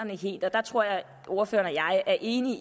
der tror jeg at ordføreren og jeg er enige